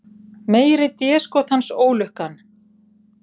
Meiri déskotans ólukkan.